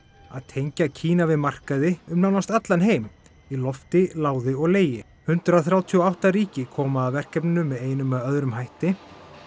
að tengja Kína við markaði um nánast allan heim í lofti láði og legi hundrað þrjátíu og átta ríki koma að verkefninu með einum eða öðrum hætti